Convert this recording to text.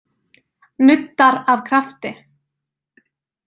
Nuddar af krafti.